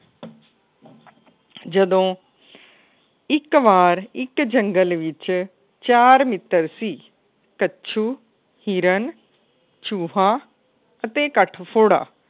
ਜਦੋ ਇੱਕ ਵਾਰ ਇੱਕ ਜੰਗਲ ਵਿੱਚ ਚਾਰ ਮਿੱਤਰ ਸੀ। ਕੱਛੂ ਹਿਰਨ ਚੂਹਾ ਅਤੇ